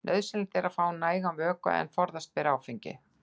Nauðsynlegt er að fá nægan vökva en forðast ber áfengi.